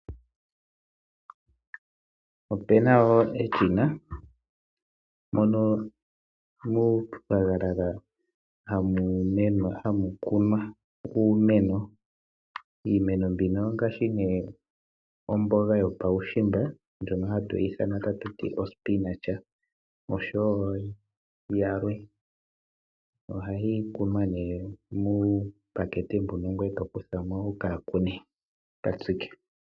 Ope na wo eshina moka muunayilona hamu kunwa uumeno. Iimeno mbino ongaashi nduno omboga yuushimba, osho wo yilwe. Ohayi kunwa nduno muupakete mbuka ngoye to kutha mo wu ka tsike.